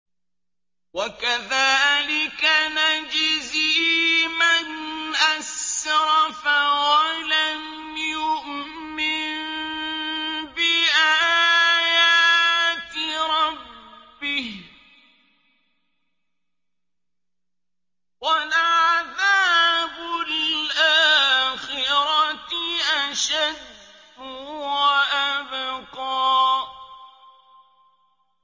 وَكَذَٰلِكَ نَجْزِي مَنْ أَسْرَفَ وَلَمْ يُؤْمِن بِآيَاتِ رَبِّهِ ۚ وَلَعَذَابُ الْآخِرَةِ أَشَدُّ وَأَبْقَىٰ